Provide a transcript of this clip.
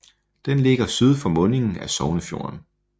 Den ligger syd for mundingen af Sognefjorden